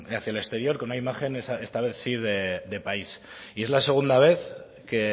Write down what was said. hacia el exterior con una imagen esta vez sí de país y es la segunda vez que